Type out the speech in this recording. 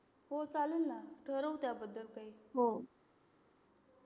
हो चालेल ना ठरवू त्या बद्दल काही